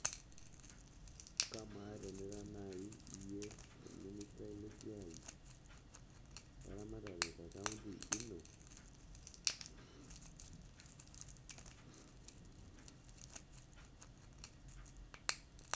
Kamaa tenira nai iyie orministai le esiai eramatare te kaunti ino